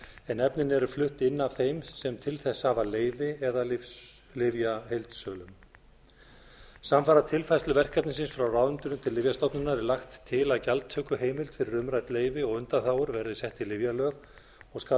en efnin eru flutt inn af þeim sem til þess hafa leyfi eða lyfjaheildsölum samfara tilfærslu verkefnisins frá ráðuneytinu til lyfjastofnunar er lagt til að gjaldtökuheimild fyrir umrædd leyfi og undanþágur verði sett í lyfjalög og skal